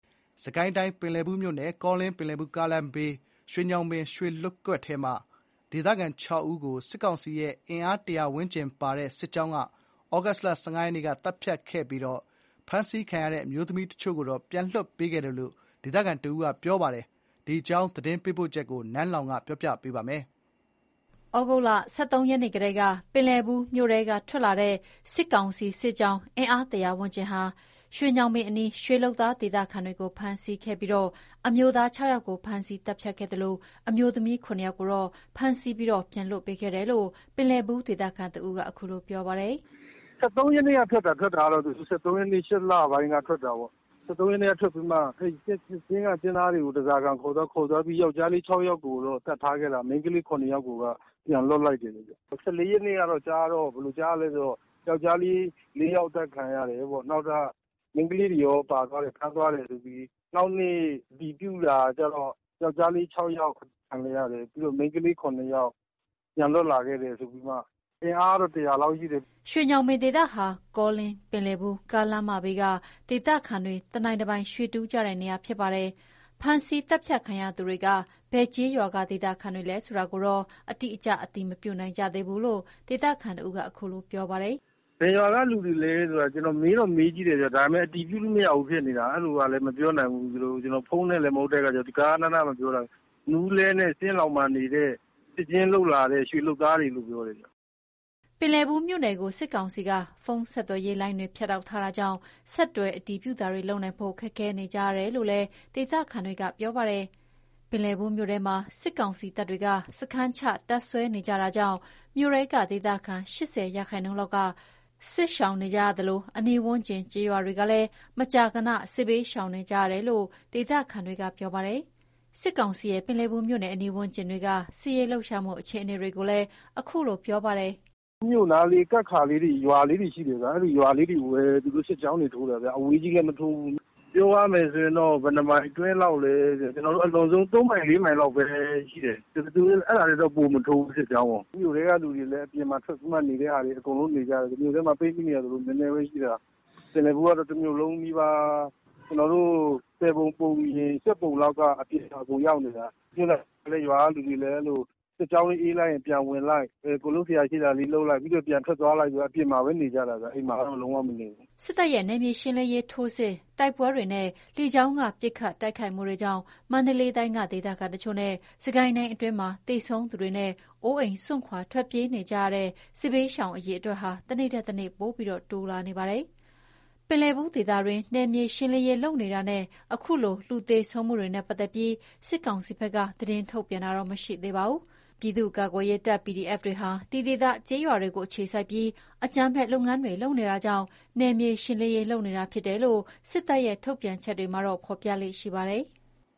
စစ်ကိုင်းတိုင်း ပင်လည်ဘူးမြို့နယ် ကောလင်း- ပင်လည်ဘူး ကားလမ်းဘေး ရွှေညောင်ပင် ရွှေလုပ်ကွက်ထဲက ဒေသခံ ၆ ဦးကို စစ်ကောင်စီရဲ့ အင်အား ၁၀၀ ဝန်းကျင်ပါတဲ့စစ်ကြောင်းက သြဂုတ်လ ၁၅ ရက်နေ့က သတ်ဖြတ်ခဲ့ပြီး ဖမ်းဆီးခံရတဲ့ အမျိုးသမီးတချို့ကိုတော့ ပြန်လွှတ်ပေးခဲ့တယ်လို့ ဒေသခံတဦးက ပြောပြတယ်။ ဒီအကြောင်းသတင်းပေးပို့ချက်ကို နန်းလောဝ်က တင်ပြပေးထားပါတယ်။ သြဂုတ်လ ၁၃ ရက်နေ့ကတည်းက ပင်လည်ဘူးမြို့ထဲက ထွက်လာတဲ့ စစ်ကောင်စီစစ်ကြောင်း အင်အား ၁၀၀ ဝန်းကျင်ဟာ ရွှေညောင်ပင်အနီးက ရွှေလုပ်သား ဒေသခံတွေကို ဖမ်းဆီးခဲ့ပြီး အမျိုးသား ၆ ယောက်ကို ဖမ်းဆီးသတ်ဖြတ်ခဲ့ပါတယ်။ အမျိုးသမီး ၇ ယောက်ကိုတော့ ဖမ်းဆီးပြီး ပြန်လွှတ်ပေးခဲ့တယ်လို့ ပင်လည်ဘူး ဒေသခံတဦးက ခုလိုပြောပါတယ်။ “စစ်ကြောင်းထွက်တာကတော့ ၁၃ ရက်နေ့ကထွက်တာ။ ၈ လပိုင်း ၁၃ ရက်နေ့က ထွက်လာတာပေါ့။ ၁၃ ရက်နေ့ကထွက်ပြီးတော့မှ ရွှေကျင်းက လုပ်သားတွေကို ဓားစာခံအနေနဲ့ ခေါ်သွားပြီးတော့ ယောက်ျားလေး ၆ ယောက်ကို သတ်ထားခဲ့တာ။ မိန်းကလေး ၇ ယောက်ကိုက ပြန်လွှတ်လိုက်တယ်။ ၁၄ ရက်နေ့ကကြားတော့ ယောကျ်ားလေး ၄ ယောက် အသတ်ခံရတယ်ပေါ့။ မိန်းကလေးတွေရော ပါသွားတယ်။ ဖမ်းသွားတယ်လို့ ကြားတာ။ နောက်နေ့ အတည်ပြုတာကျတော့ ယောက်ျားလေး ၆ ယောက် အသတ်ခံလိုက်ရတယ်။ ပြီးတော့ မိန်းကလေး ၇ ယောက် ပြန်လွှတ်ခဲ့တယ်။ အင်အားကတော့ ၁၀၀ လောက် ရှိတယ်။” ရွှေညောင်ပင် ဒေသဟာ ကောလင်း-ပင်လည်ဘူး ကားလမ်းမဘေးက ဒေသခံတွေ တနိုင်တပိုင် ရွှေတူးကြတဲ့နေရာဖြစ်ပါတယ်။ ဖမ်းဆီးသတ်ဖြတ်ခံရသူတွေက ဘယ်ကျေးရွာက ဒေသခံတွေလဲဆိုတာကိုတော့ အတိအကျ အတည်မပြုနိုင်ကြသေးဘူးလို့ ေ့ဒသခံတဦးက ခုလိုပြောပါတယ်။ “ဘယ်ရွာက လူတွေလဲဆိုတော့ မေးတော့မေးကြည့်တယ်ဗျ၊ ဒါပေမယ့် အတည်ပြုလို့မရဘူးဖြစ်နေတာ။ အဲ့လိုကလည်း မေးလို့ မရပြန်ဘူး။ ကျနော်တို့က ဖုန်းနဲ့ ဆက်သွယ်ရတာလည်း မဟုတ်တော့ ဂဃနဏ မပြောနိုင်တာ။ မူးလဲနဲ့ ကျင်းလောင်မှာနေတဲ့ ဒီဘက်ကို အလုပ်လာလုပ်တဲ့ ရွှေလုပ်သားတွေလို့တော့ ပြောတယ်ဗျ။” ပင်လည်ဘူးမြို့နယ်ကို စစ်ကောင်စီက ဖုန်းဆက်သွယ်ရေးလိုင်းတွေ ဖြတ်တောက်ထားတာကြောင့် ဆက်သွယ်အတည်ပြုတာတွေလုပ်နိုင်ဖို့ ခက်ခဲနေကြရတယ်လို့လည်းဒေသခံတွေက ပြောပါတယ်။ ပင်လည်ဘူးမြို့ထဲမှာ စစ်ကောင်စီတပ်တွေက စခန်းချတပ်စွဲနေကြတာကြောင့် မြို့ထဲက ဒေသခံ ၈၀ ရာခိုင်နှုန်းလောက်က ထွက်ပြေး စစ်ရှောင်နေကြရသလို အနီးဝန်းကျင် ကျေးရွာတွေကလည်း မကြာခဏ စစ်ဘေရှောင်ကြရတယ်လို့ ဒေသခံက ပြောပါတယ်။ စစ်ကောင်စီရဲ့ ပင်လည်ဘူးမြို့အနီးဝန်းကျင်တွေက စစ်ရေးလှုပ်ရှားမှုအခြေအနေတွေကို ခုလိုပြောပါတယ်။ “အဲ့နားမှာ ကပ်နေတဲ့ ရွာာလေးတွေ ရှိတယ်ဗျ။ အဲ့ဒီရွာလေးတွေကိုပဲ သူတို့ စစ်ကြောင်းထိုးတာဗျ။ အဲ့ထက် ဝေးတဲ့ နေရာတွေကို သူတို့ မထိုးဘူး။ ပြောရမယ်ဆိုရင်တော့ သူတို့က ၃ မိုင် ၄ မိုင်အတွင်းလောက်ပဲ သူတို့ စစ်ကြောင်းထိုးတယ်။ အဲ့ထက်ပိုပြီး သူတို့ မထိုးဘူး။ စစ်ကြောင်းကို။ မြို့ထဲကလူတွေလည်း အကုန်အပြင်ထွက်ပြီးတော့မှ နေကြတယ်။ မြို့ထဲမှာပိတ်မိနေတာဆိုလို့ နည်းနည်းပဲရှိတာ။ ပင်လည်ဘူးကတော့ တမြို့လုံးနီးပါး ၁၀ ပုံ ပုံရင် ၈ ပုံလောက်က အပြင်ရောက်နေတာ။ အဲ့လိုပဲ ရွာာက လူတွေကလည်း အဲ့လို စစ်ကြောင်းလာရင် ပြေးလိုက် ပြီးရင် ပြန်ဝင်လိုက် လုပ်စရာရှိတာလုပ်လိုက်ပေါ့၊ ရွာပြင်မှာပဲ နေကြရတာ။ ရွာထဲတော့ ပြန်မဝင်နိုင်ကြဘူး။” စစ်တပ်ရဲ့ နယ်မြေရှင်းလင်းရေး ထိုးစစ်၊ တိုက်ပွဲတွေနဲ့ လေကြောင်းက ပစ်ခတ်တိုကခိုက်မှုတွေကြောင့် မန္တလေးတိုင်းက ဒေသတချို့နဲ့ စစ်ကိုင်းတိုင်းအတွင်းမှာ သေဆုံးသူတွေနဲ့ အိုးအိမ် စွန့်ခွာ ထွက်ပြေးနေကြရတဲ့ စစ်ဘေးရှောင် အရေအတွက်ဟာ တနေ့ထက်တနေ့ ပိုပြီး တိုးလာနေပါတယ်။ ပင်လည်ဘူးဒေသတွင်း နယ်မြေရှင်းလင်းရေးလုပ်နေတာနဲ့ အခုလို လူသေဆုံးမှုတွေနဲ့ပတ်သက်ပြီး စစ်ကောင်စီဘက်က သတင်းမထုတ်ပြန်သေးပါဘူး။ ပြည်သူ့ကာကွယ်ရေးတပ် PDF တွေဟာ ဒီဒေသကျေးရွာတွေကို အခြေစိုက်ပြီး အကြမ်းဖက်လုပ်ငန်းတွေလုပ်နေတာကြောင့် နယ်မြေရှင်းလင်းရေးလုပ်နေတာဖြစ်တယ်လို့ စစ်တပ်ရဲ့ ထုတ်ပြန်ချက်တွေမှာ ဖော်ပြလေ့ရှိပါတယ်။